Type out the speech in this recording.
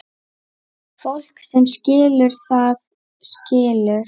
Fólk sem skilur, það skilur.